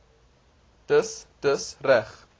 dis dis reg